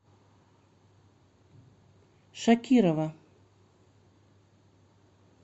шакирова